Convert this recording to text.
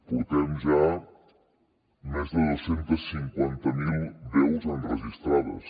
portem ja més de dos cents i cinquanta miler veus enregistrades